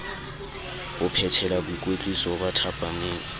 ho phethela boikwetliso ba thapameng